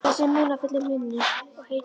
Þessi munúðarfulli munnur og heitu augu.